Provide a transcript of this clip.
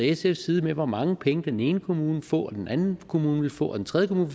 sfs side med hvor mange penge den ene kommune ville få og den anden kommune ville få og den tredje kommune